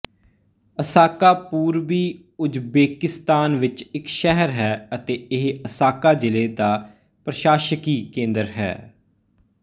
Asaka ਪੂਰਬੀ Uzbekistan ਵਿੱਚ ਇੱਕ ਸ਼ਹਿਰ ਹੈ ਅਤੇ ਇਹ ਅਸਾਕਾ ਜ਼ਿਲ੍ਹੇ ਦਾ ਪ੍ਰਸ਼ਾਸਕੀ ਕੇਂਦਰ ਹੈ